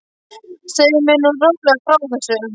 Segðu mér nú rólega frá þessu.